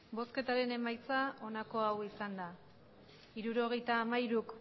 emandako botoak hirurogeita hamairu